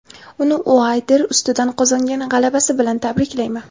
Uni Uaylder ustidan qozongan g‘alabasi bilan tabriklayman.